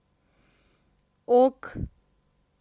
ок